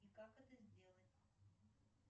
и как это сделать